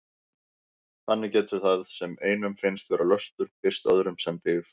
Þannig getur það sem einum finnst vera löstur birst öðrum sem dyggð.